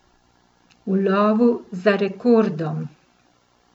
V lovu za rekordom.